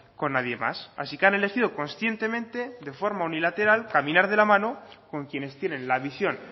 con nadie más así que han elegido conscientemente de forma unilateral caminar de la mano con quienes tienen la visión